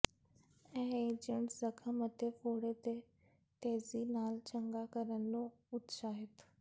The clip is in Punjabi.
ਇਹ ਏਜੰਟ ਜ਼ਖ਼ਮ ਅਤੇ ਫੋੜੇ ਦੇ ਤੇਜ਼ੀ ਨਾਲ ਚੰਗਾ ਕਰਨ ਨੂੰ ਉਤਸ਼ਾਹਿਤ